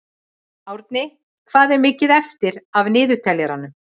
Árni, hvað er mikið eftir af niðurteljaranum?